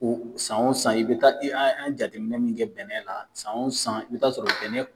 O san wo san i be taa an ye jateminɛ min kɛ bɛnɛ la , san wo san i be taa sɔrɔ bɛnɛ